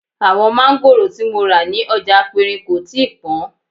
Àwọn máńgòrò tí mo rà ní ọjà aperin kò tíì pọn